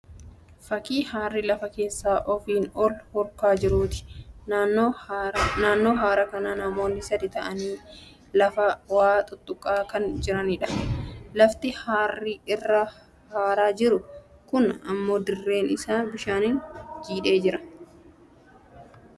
Fakkii haarri lafa keessaa ofiin ol hurkaa jiruuti. Naannoo haara kanaa namoonni sadii ta'anii lafaa waa xuxxuqaa kan jiraniidha. Lafti haarri irraa haaraa jiru kun dirreen isaa bishaaniin jiidhee jira.